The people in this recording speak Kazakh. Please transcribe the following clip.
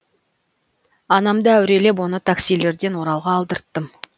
анамды әурелеп оны таксилерден оралға алдырттым